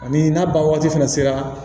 Ani n'a ban waati fana sera